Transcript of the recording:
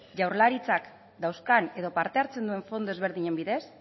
jaurlaritzak dauzkan edo parte hartzen duen fondo ezberdinen bidez